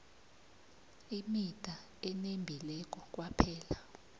imida enembileko kwaphela